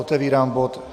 Otevírám bod